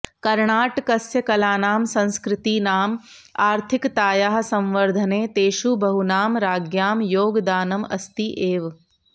कर्णाटकस्य कलानां संस्कृतीनां आर्थिकतायाः संवर्धने तेषु बहूनां राज्ञां योगदानम् अस्ति एव